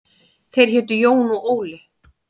Þeir hétu Jón og Óli.